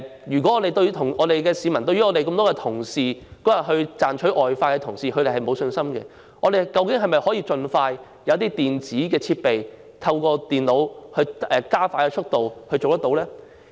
如果市民對於當天賺取外快的多位人員沒有信心，究竟我們能否盡快使用電子設備，透過電腦加快投票速度？